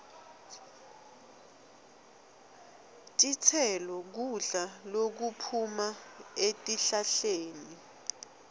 titselo kudla lokuphuma etihlahleni